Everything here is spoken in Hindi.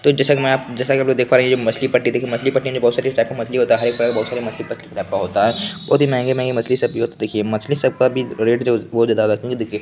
तो जैसा कि मैं आप जैसा की आप देख पा रहे हैं ये मछली पट्टी दिख रही है| मछली पट्टी में बहुत सारी मछली होता है बहुत सारी मछली टाइप का होता है| बहुत ही मेहेंगी-मेहेंगी मछली छपी है तो देखिये मछली सबका भी रेट --